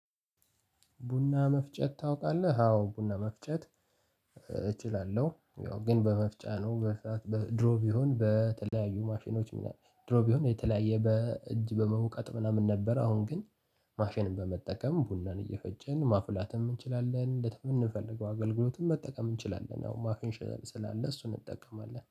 ቡና መፍጨት ታውቃለህ? አዎ ቡና መፍጨት እችላለሁ። ያው ግን በመፍጫ ነው ድሮ ቢሆን በተለያዩ ማሽኖች ድሮ ቢሆን የተለያየ በእጅ በመውቀጥ ምናምን ነበር አሁን ግን ማሽንም በመጠቀም ቡናን እየፈጨን ማፍላትም እንችላለን ለምንፈልገው አገልግሎትም መጠቀም እንችላለን። አዎ ማሽን ስላለ እሱን እንጠቀማለን።